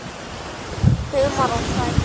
Humar og frægð?